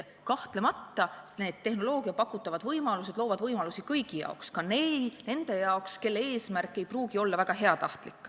Kahtlemata, need tehnoloogia pakutavad võimalused loovad võimalusi kõigi jaoks, ka nende jaoks, kelle eesmärk ei pruugi olla väga heatahtlik.